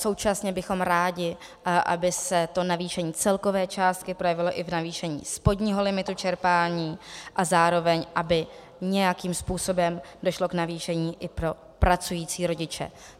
Současně bychom rádi, aby se to navýšení celkové částky projevilo i v navýšení spodního limitu čerpání a zároveň aby nějakým způsobem došlo k navýšení i pro pracující rodiče.